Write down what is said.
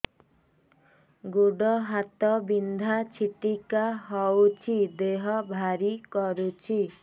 ଗୁଡ଼ ହାତ ବିନ୍ଧା ଛିଟିକା ହଉଚି ଦେହ ଭାରି କରୁଚି